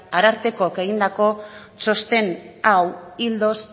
arartekoak egindako txosten hau ildoz